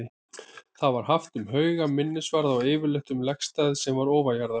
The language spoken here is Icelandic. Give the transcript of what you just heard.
Það var haft um hauga, minnisvarða og yfirleitt um legstað sem var ofanjarðar.